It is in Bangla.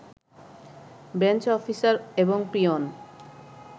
বেঞ্চ অফিসার এবং পিওন